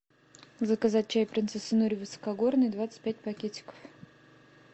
заказать чай принцесса нури высокогорный двадцать пять пакетиков